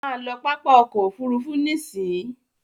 Má lọ pápá ọkọ̀ òfurufú nísìí!